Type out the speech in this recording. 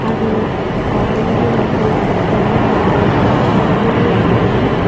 అది ఆరెంజ్ రంగు తెల్ల రంగు పచ్చ రంగులో ఉంది.